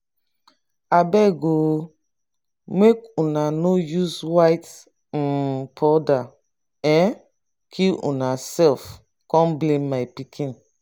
abeg um make una no use white um powder um kill una self come blame my pikin.